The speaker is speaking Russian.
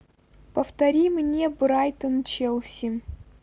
повтори мне брайтон челси